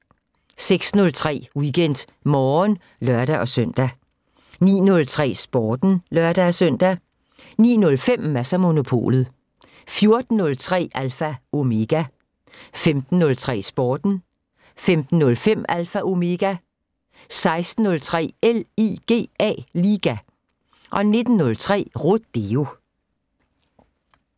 06:03: WeekendMorgen (lør-søn) 09:03: Sporten (lør-søn) 09:05: Mads & Monopolet 14:03: Alpha Omega 15:03: Sporten 15:05: Alpha Omega 16:03: LIGA 19:03: Rodeo